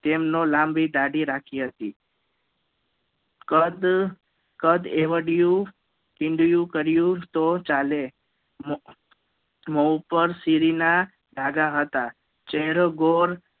કે જેમનો લાંબી દાઢી રાખેલી હતી કદ કદ એવડિયું તિંગલું કર્યું તો ચાલે મોપર સિરી ના ડાઘા હતા